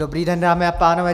Dobrý den, dámy a pánové.